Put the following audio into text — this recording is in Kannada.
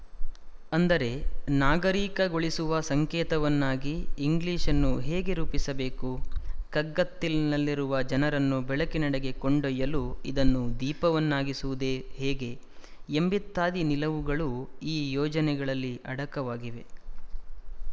ಅಂದರೆ ನಾಗರಿಕಗೊಳಿಸುವ ಸಂಕೇತವನ್ನಾಗಿ ಇಂಗ್ಲಿಶ್‌ ಅನ್ನು ಹೇಗೆ ರೂಪಿಸಬೇಕು ಕಗ್ಗತ್ತಲಿನಲ್ಲಿರುವ ಜನರನ್ನು ಬೆಳಕಿನಡೆಗೆ ಕೊಂಡೊಯ್ಯಲು ಇದನ್ನು ದೀಪವನ್ನಾಗಿಸುವುದು ಹೇಗೆ ಎಂಬಿತ್ಯಾದಿ ನಿಲುವುಗಳು ಈ ಯೋಜನೆಗಳಲ್ಲಿ ಅಡಕವಾಗಿವೆ